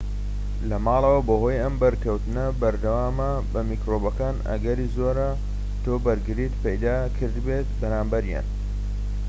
لەماڵەوە بەهۆی ئەم بەرکەوتنە بەردەوامە بە میکرۆبەکان ئەگەری زۆرە تۆ بەرگریت پەیدا کردبێت بەرامبەریان